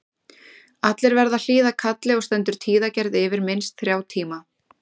Allir verða að hlýða kalli og stendur tíðagerð yfir minnst þrjá tíma.